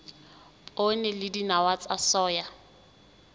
poone le dinawa tsa soya